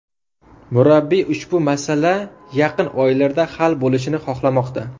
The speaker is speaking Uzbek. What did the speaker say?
Murabbiy ushbu masala yaqin oylarda hal bo‘lishini xohlamoqda.